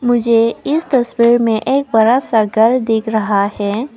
मुझे इस तस्वीर में एक बड़ा घर दिख रहा है।